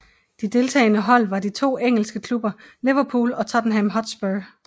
De deltagende hold var de to engelske klubber Liverpool og Tottenham Hotspur